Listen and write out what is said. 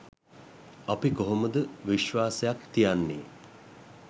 අපි කොහොමද විශ්වාසයක් තියන්නේ